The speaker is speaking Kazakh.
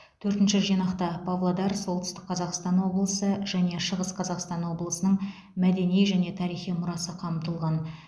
төртінші жинақта павлодар солтүстік қазақстан облысы және шығыс қазақстан облысының мәдени және тарихи мұрасы қамтылған